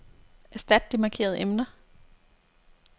Erstat de markerede emner.